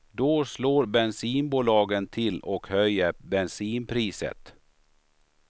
Då slår bensinbolagen till och höjer bensinpriset.